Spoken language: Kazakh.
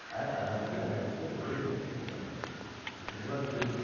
әр адамды жаңағы көтереміз